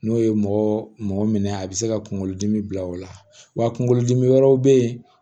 N'o ye mɔgɔ mɔgɔ minɛ a bɛ se ka kunkolo dimi bila o la wa kunkolodimi wɛrɛw bɛ ye